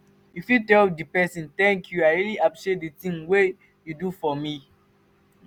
you fit tell di person "thank you i really appreciate di things wey you do for me"